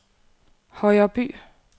Højreby